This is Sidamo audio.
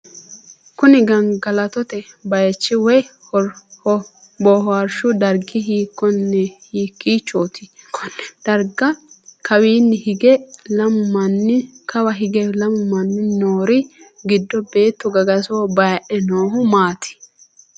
Kunni gangalattote bayichi woyi booharshu dargi hiikiichooti? Konne darga kawaanni hige lamu manni noori gido beetto gagasoho haadhe noohu maati?